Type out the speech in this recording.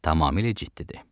Tamamilə ciddidir.